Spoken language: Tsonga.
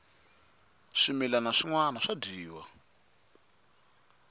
swimilana swinwana swa dyiwa